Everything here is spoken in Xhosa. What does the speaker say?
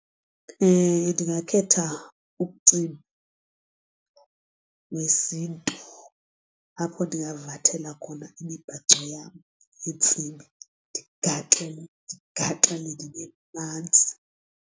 Ndingakhetha umcimbi wesiNtu apho ndingavathela khona imibhaco yam neentsimbi ndigaxeleke ndigaxeleke ndibe manzi.